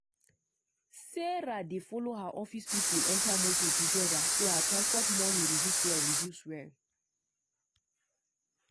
sarah dey follow her office people enter motor together so her transport money reduce well. reduce well.